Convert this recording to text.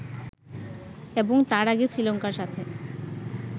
এবং তার আগে শ্রীলঙ্কার সাথে